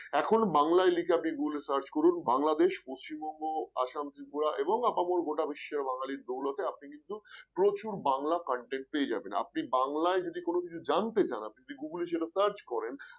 এখন বাংলায় লিখে আপনি Google এ search করুন বাংলাদেশ পশ্চিমবঙ্গ আসাম ত্রিপুরা এবং আপামর গোটা বিশ্বে বাঙালির দৌলতে আপনি কিন্তু প্রচুর বাংলা content পেয়ে যাবেন আপনি বাংলায় যদি কোন কিছু জানতে চান আপনি Google এ সেটা search করেন